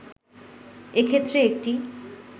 এ ক্ষেত্রে একটি